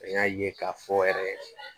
An y'a ye k'a fɔ yɛrɛ